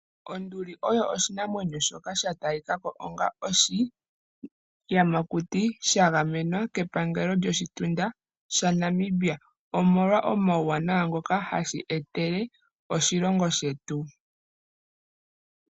Onduli oyo oshinamwenyo shoka sha talika ko onga oshiyamakuti sha gamenwa kepangelo lyoshitunda shaNamibia, omolwa omauwanawa ngoka hashi etele oshilongo shetu.